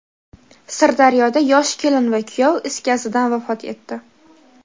Sirdaryoda yosh kelin va kuyov is gazidan vafot etdi.